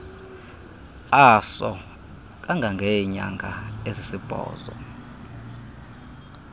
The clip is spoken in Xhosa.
aso kangangeenyanga ezisibhozo